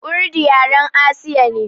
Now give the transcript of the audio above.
Urdu yaren Asiya ne.